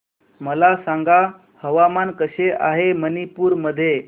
मला सांगा हवामान कसे आहे मणिपूर मध्ये